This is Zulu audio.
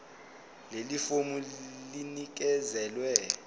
leli fomu linikezelwe